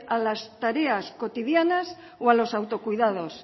a las tareas cotidianas o a los autocuidados